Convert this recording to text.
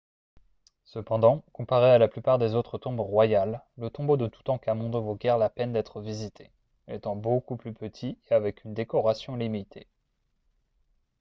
cependant comparé à la plupart des autres tombes royales le tombeau de toutankhamon ne vaut guère la peine d'être visité étant beaucoup plus petit et avec une décoration limitée